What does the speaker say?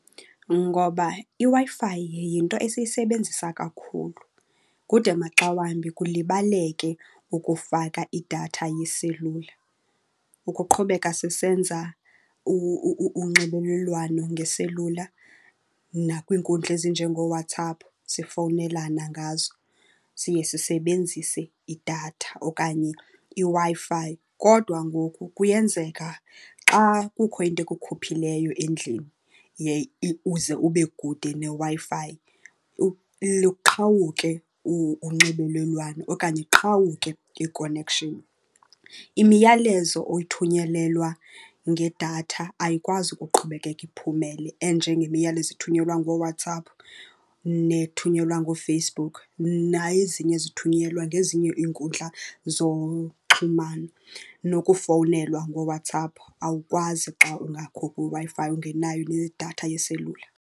Ngoba iWi-Fi yinto esiyisebenzisa kakhulu kude maxa wambi kulibaleke ukufaka idatha yeselula. Ukuqhubeka sisenza unxibelelwano ngeselula nakwiinkundla ezinjengooWhatsApp sifowunelana ngazo, siye sisebenzise idatha okanye iWi-Fi. Kodwa ngoku kuyenzeka xa kukho into ekukhuphileyo endlini uze ube kude neWi-Fi luqhawuke unxibelelwano okanye iqhawuke i-connection. Imiyalezo oyithunyelelwa ngedatha ayikwazi ukuqhubekeka iphumele enjengemiyalezo ethunyelwa ngooWhatsApp nethunyelwa ngooFacebook, nezinye ezithunyelwa ngezinye iinkundla zoxhumano. Nokufownelwa ngoWhatsApp, awukwazi xa ungakho kwiWi-Fi ungenayo nedatha yeselula.